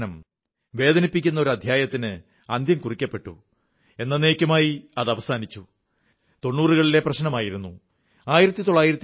തിരക്കുപിടിച്ച ഉത്സവസീസൺ ആയിരിക്കെ നിങ്ങൾ ഒരുപക്ഷേ ഈ ചരിത്രംകുറിക്കുന്ന ഒത്തുതീർപ്പിനെക്കുറിച്ച് വിശദമായി അറിഞ്ഞിട്ടുണ്ടാവില്ല അതുകൊണ്ട് അതെക്കുറിച്ച് മൻ കീ ബാത്ത് ൽ നിങ്ങളോടു തീർച്ചായയും പറയണമെന്ന് എനിക്കു തോന്നി